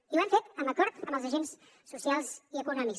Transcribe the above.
i ho hem fet amb acord amb els agents socials i econòmics